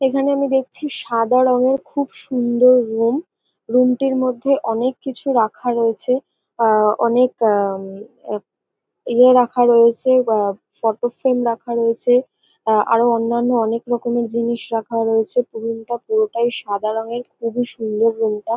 এখানে আমি দেখছি সাদা রঙের খুব সুন্দর রুম রুম - টির মধ্যে অনেক কিছু রাখা রয়েছে আ-আ অনেক আ-ম ইয়ে রাখা রয়েছে আ ফটোফ্রেম রাখা রয়েছে আরো অন্যান্য অনেক রকমের জিনিস রাখা রয়েছে রুম -টা পুরোটাই সাদা রঙের খুবই সুন্দর রুম -টা।